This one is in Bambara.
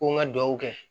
Ko n ka dugawu kɛ